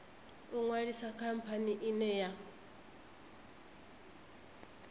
u ṅwalisa khamphani ine ya